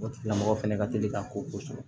O tigila mɔgɔ fɛnɛ ka teli ka ko sɔrɔ